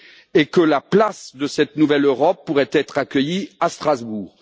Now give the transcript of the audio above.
et que la place de cette nouvelle Europe pourrait être accueillie à Strasbourg.